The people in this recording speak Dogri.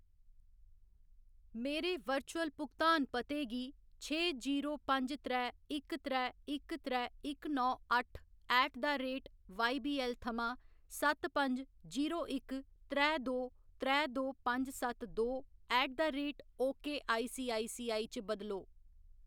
मेरे वर्चुअल भुगतान पते गी छे जीरो पंज त्रै इक त्रै इक त्रै इक नौ अट्ठ ऐट द रेट वाईबीऐल्ल थमां सत्त पंज जीरो इक त्रै दो त्रै दो पंज सत्त दो at the rate okay ICICI च बदलो।